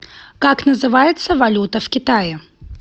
как называется валюта в китае